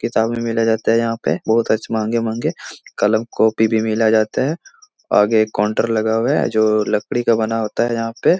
किताबे मिले जाते यहाँ पे बहुत अच्छे महंगे-महंगे कलम कॉपी भी मिला जाता है आगे एक कोंटर लगा हुवा है जो लकड़ी का बना होता है यहाँ पे --